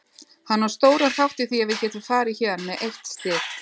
Hann á stóran þátt í því að við getum farið héðan með eitt stig.